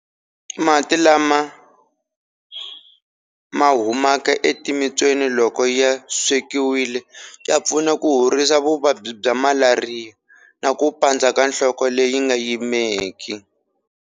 Mati lama ma humaka etimitswini loko ya swekiwile ya pfuna ku horisa vuvabyi bya malariya na ku pandza ka nhloko leyi nga yimeki.